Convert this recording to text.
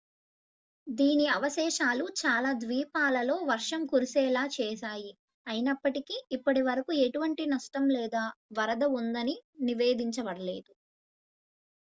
దీని అవశేషాలు చాలా ద్వీపాలలో వర్షం కురిసేలా చేశాయి అయినప్పటికీ ఇప్పటివరకు ఎటువంటి నష్టం లేదా వరద ఉందని నివేదించబడలేదు